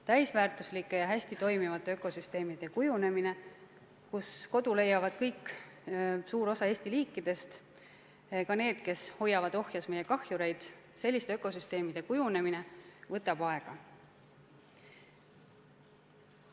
Täisväärtuslike ja hästi toimivate ökosüsteemide kujunemine, kus kodu leiavad kõik või suur osa Eesti liikidest, ka need, kes hoiavad ohjes meie kahjureid – selliste ökosüsteemide kujunemine võtab aega.